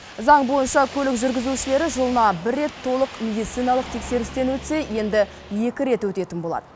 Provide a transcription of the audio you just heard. заң бойынша көлік жүргізушілері жылына бір рет толық медициналық тексерістен өтсе енді екі рет өтетін болады